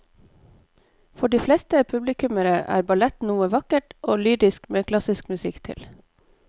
For de fleste publikummere er ballett noe vakkert og lyrisk med klassisk musikk til.